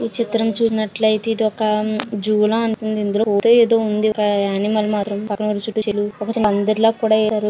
ఈ చిత్రం చూసినట్లయితే ఇదొక జూ లా ఉంటుంది. ఇక్కడ అనిమల్ మాత్రం పక్కనున్న--